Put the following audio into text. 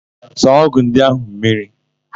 Saa ọ́gụ̀ ndị áhụ̀ mmiri!